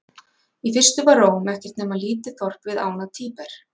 Í fyrstu var Róm ekki nema lítið þorp við ána Tíber.